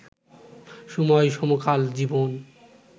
সময়-সমকাল-জীবন